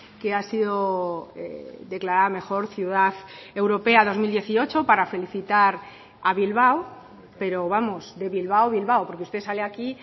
que ha sido declarada mejor ciudad europea dos mil dieciocho para felicitar a bilbao pero vamos de bilbao bilbao porque usted sale aquí